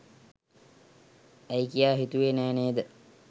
ඇයි කියා හිතුවේ නෑ නේද?